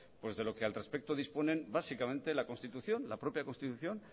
de lo que al respecto disponen básicamente la constitución la propia constitución